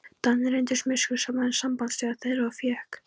Danir reyndust miskunnsamari en sambandsþjóð þeirra og fékk